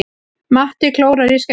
Matti klórar í skeggið.